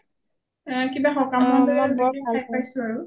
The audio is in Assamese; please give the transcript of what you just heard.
কিবা সকামত লৈ খাই পাইছোঁ আৰু